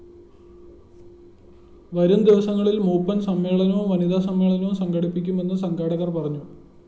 വരും ദിവസങ്ങളില്‍ മൂപ്പന്‍ സമ്മേളനവും വനിതാസമ്മേളനവും സംഘടിപ്പിക്കുമെന്നും സംഘാടകര്‍ പറഞ്ഞു